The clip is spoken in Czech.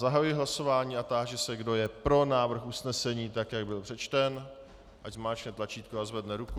Zahajuji hlasování a táži se, kdo je pro návrh usnesení, tak jak byl přečten, ať zmáčkne tlačítko a zvedne ruku.